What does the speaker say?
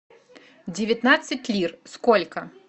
девятнадцать лир сколько